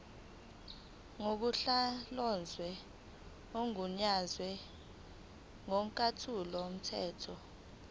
ngusonhlalonhle ogunyaziwe ngokomthetho